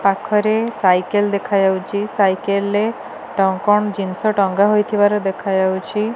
ପାଖରେ ସାଇକେଲ ଦେଖାଯାଉଚି ସାଇକେଲରେ କଣ କଣ ଜିନିଷ ଟଙ୍ଗା ହୋଇଥିବାର ଦେଖାଯାଉଛି।